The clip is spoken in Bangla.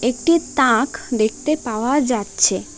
একটি তাক দেখতে পাওয়া যাচ্ছে।